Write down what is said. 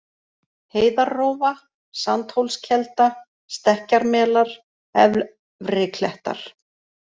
Heiðarrófa, Sandhólskelda, Stekkjarmelar, Efri-Klettar